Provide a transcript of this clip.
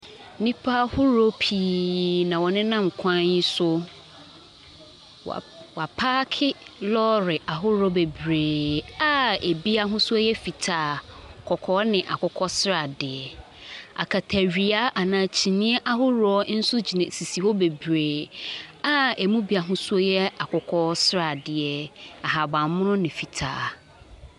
Nnipa ahoroɔ pii na wɔnenam kwan yi so. Wɔa . Wɔapake lɔre ahoroɔ bebree a ebi ahosuo yɛ fitaa, kɔkɔɔ ne akokɔ sradeɛ. Akatawia anaa kyiniiɛ ahoroɔ nso gyina sisi hɔ bebree a ɛmu bi ahosuo yɛ akokɔ sradeɛ, ahaban mono ne fitaa.